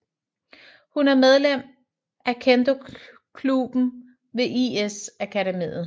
Hun er medlem af kendokluben ved IS Akademiet